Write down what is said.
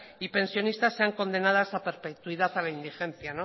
y pensionistas sean condenadas a perpetuidad a la indigencia